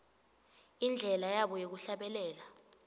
indlela yabo yekuhlabelela